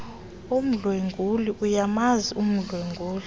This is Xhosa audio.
odlwengulo ayamazi umdlwenguli